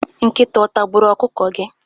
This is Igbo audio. Nkịta otagburu ọkụkọ gị?